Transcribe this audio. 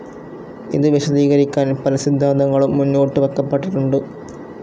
ഇതു വിശദീകരിക്കാൻ പല സിദ്ധാന്തങ്ങളും മുന്നോട്ട് വയ്ക്കപ്പെട്ടിട്ടുണ്ട്.